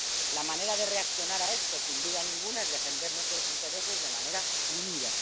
La manera de reaccionar a esto, sin duda ninguna, es defender nuestros intereses de manera unida.